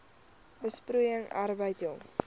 besproeiing arbeid jong